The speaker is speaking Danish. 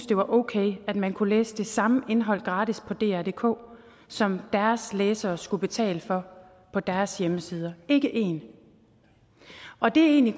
det var okay at man kunne læse det samme indhold gratis på drdk som deres læsere skulle betale for på deres hjemmesider ikke én og det er egentlig